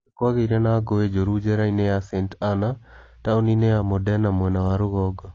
Nĩ kwagĩire na ngũĩ njũru njera-inĩ ya Sant'Anna, taũni-inĩ ya Modena mwena wa rũgongo.